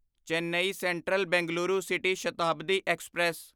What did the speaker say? Chennai central Bengaluru city Shatabdi express